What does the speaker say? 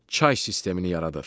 Çay sistemini yaradır.